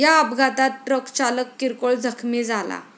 या अपघातात ट्रकचालक किरकोळ जखमी झाला.